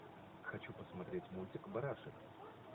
хочу посмотреть мультик барашек